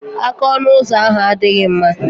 Aka ọnụ ụzọ ahu adịghị mma.